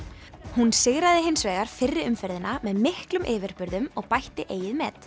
hún sigraði hins vegar fyrri umferðina með miklum yfirburðum og bætti eigið met